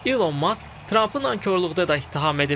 İlon Mask Trampı nankorluqda da ittiham edib.